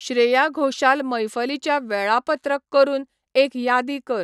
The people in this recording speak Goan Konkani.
श्रेया घोशाल मैफलीच्या वेळापत्रक करून एक यादी कर